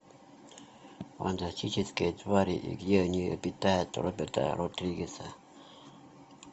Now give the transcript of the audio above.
фантастические твари и где они обитают роберта родригеса